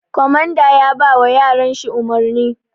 Komanda yabawa yaran shi umurni